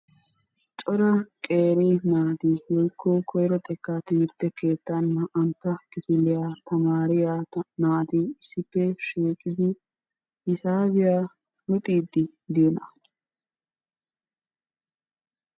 Cora qeeri naati woyikko koyiro xekkaa timirtte keettan naa"antta kifiliya tamaariya naati issippe shiiqidi hisaabiya luxiiddi diyonaa?